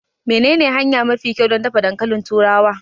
Menene hanya mafi kyau don dafa dankalin turawa?